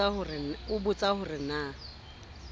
a nbotsa ho re na